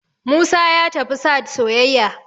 musa ya tafi sahad soyayya